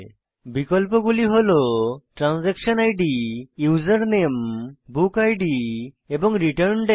বিকল্পগুলি হল transaction ID user নামে বুক ইদ এবং রিটার্ন দাতে